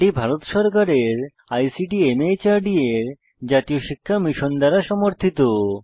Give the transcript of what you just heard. এটি ভারত সরকারের ICT MHRD এর জাতীয় শিক্ষা মিশন দ্বারা সমর্থিত